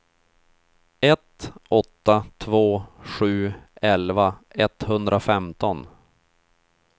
ett åtta två sju elva etthundrafemton